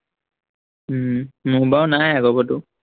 উম মোৰ বাৰু নাই আগৰ গঢ়টো